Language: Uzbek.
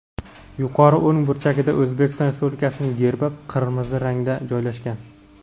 yuqori o‘ng burchagida O‘zbekiston Respublikasining Gerbi qirmizi rangda joylashgan.